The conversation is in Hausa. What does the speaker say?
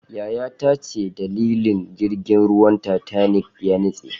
yayata ce dalilin da jirgin ruwan titanic ya nitse